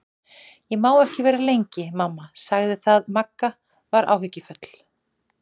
Ég má ekki vera lengi, mamma sagði það Magga var áhyggjufull.